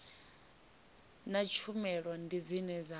na tshumelo ndi dzine dza